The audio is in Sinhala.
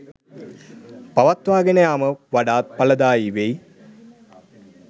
පවත්වාගෙන යාම වඩාත් ඵලදායි වෙයි.